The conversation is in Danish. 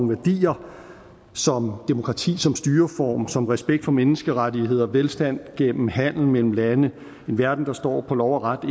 værdier som demokrati som styreform respekt for menneskerettighederne velstand gennem handel mellem landene en verden der står på lov og ret og